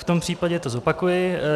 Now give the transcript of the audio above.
V tom případě to zopakuji.